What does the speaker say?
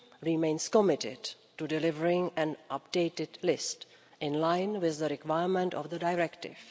remains committed to delivering an updated list, in line with the requirement of the directive.